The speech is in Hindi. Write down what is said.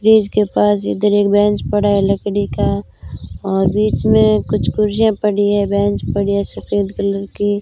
फ्रिज के पास इधर एक बेंच पड़ा है लकड़ी का और बीच में कुछ कुर्सियां पड़ी है बेंच पड़ी है सफेद कलर की--